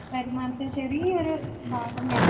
വരുമാനത്തിന്റെ ചെറിയൊരു പാവം ഞാൻ